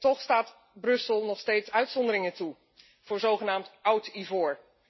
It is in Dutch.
Toch staat Brussel nog steeds uitzonderingen toe voor zogenaamd oud ivoor.